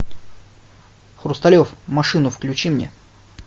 хрусталев машину включи мне